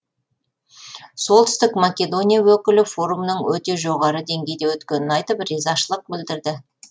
солтүстік македония өкілі форумның өте жоғары деңгейде өткенін айтып ризашылық білдірді